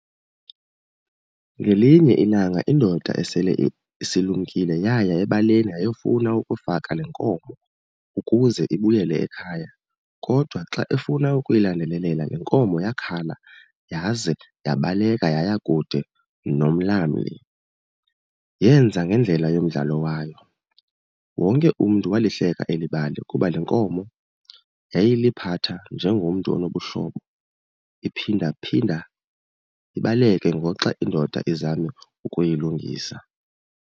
Ngelinye ilanga indoda esele isilumkile yaya ebaleni yayofuna ukufaka le nkomo ukuze ibuyele ekhaya, kodwa xa efuna ukuyilandelelela le nkomo yakhala yaze yabaleka yaya kude nomlamli. Yenza ngendlela yomdlalo wayo. Wonke umntu walihleka eli bali kuba le nkomo yayiliphatha njengomntu onobuhlobo iphindaphinda ibaleke ngoxa indoda izama ukuyilungisa.